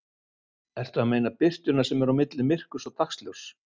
Ertu að meina birtuna sem er á milli myrkurs og dagsljóss?